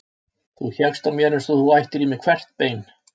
Þú hékkst á mér eins og þú ættir í mér hvert bein.